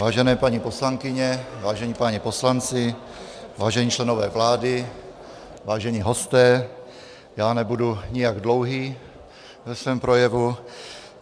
Vážené paní poslankyně, vážení páni poslanci, vážení členové vlády, vážení hosté, já nebudu nijak dlouhý ve svém projevu.